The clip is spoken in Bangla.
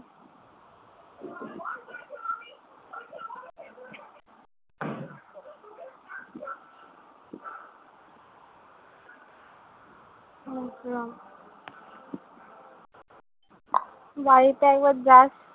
বাড়িতে একবার যাস।